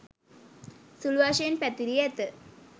සුළු වශයෙන් පැතිරී ඇත.